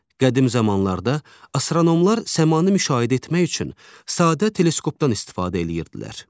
Qədim zamanlarda astronomlar səmanı müşahidə etmək üçün sadə teleskopdan istifadə edirdilər.